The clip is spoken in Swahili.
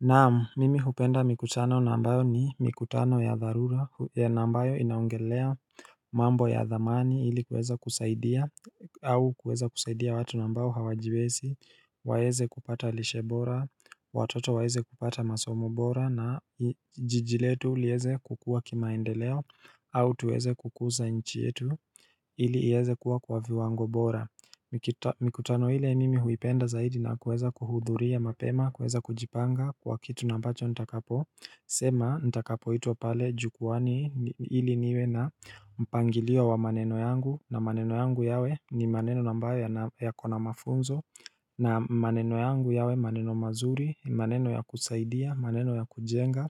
Naam, mimi hupenda mikutano ambayo ni mikutano ya dharura ya ambayo inaongelea mambo ya dhamani ili kuweza kusaidia au kueza kusaidia watu ambayo hawajiwezi, waeze kupata lishebora, watoto waeze kupata masomo bora na jiji letu liweze kukua kimaendeleo au tuweze kukuza nchi yetu ili ieze kuwa kwa viwango bora Mikutano ile mimi huipenda zaidi na kuweza kuhudhuria mapema, kuweza kujipanga kwa kitu na ambacho ntakapo sema nitakapo itwa pale jukuwani ili niwe na mpangilio wa maneno yangu na maneno yangu yawe ni maneno ambayo yakona mafunzo na maneno yangu yawe maneno mazuri, maneno ya kusaidia, maneno ya kujenga